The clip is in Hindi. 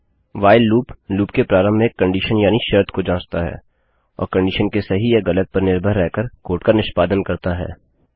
व्हाइल लूप लूप के प्रारंभ में एक कंडीशन यानि शर्त को जाँचता है और कंडीशन के सही या गलत पर निर्भर रह कर कोड का निष्पादन करता है